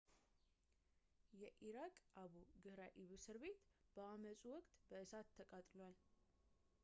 የኢራቅ አቡ ግህራኢብ እስር ቤት በአመጹ ወቅት እሳት ተቃጥሏል